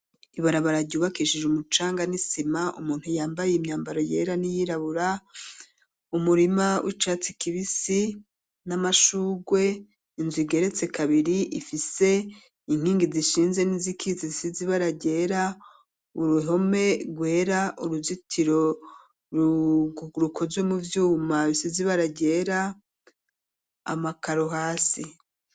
Ibarabara ryubakishije umucanga n'isima umuntu yambaye imyambaro yera n'iyirabura, umurima w'icatsi kibisi n'amashurwe inzu igeretse kabiri ifise inkingi zishinze n'izikitse zisize ibara ryera, uruhome rwera , uruzitiro rukozwe mu vyuma bisize ibara ryera, amakaro hasi.